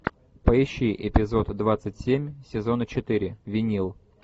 поищи эпизод двадцать семь сезона четыре винил